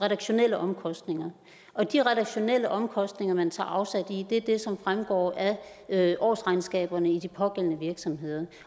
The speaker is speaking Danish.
redaktionelle omkostninger og de redaktionelle omkostninger man tager afsæt i er dem som fremgår af årsregnskaberne i de pågældende virksomheder